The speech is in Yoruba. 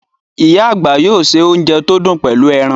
Íyá àgbà yóò ṣe ounjẹ tí ó dùn pẹlú ẹran